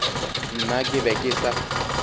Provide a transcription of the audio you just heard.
nna ke be ke sa